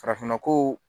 Farafinna ko